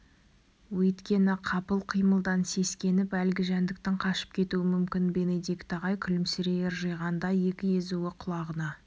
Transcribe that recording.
өйткені қапыл қимылдан сескеніп әлгі жәндіктің қашып кетуі мүмкін бенедикт ағай күлімсірей ыржиғанда екі езуі құлағына